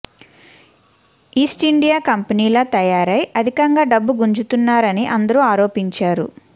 east India కంపెనీలా తయారై అధికంగా డబ్బు గుంజుతున్నారని అందరూ ఆరోపించారు